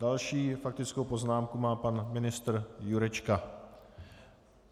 Další faktickou poznámku má pan ministr Jurečka.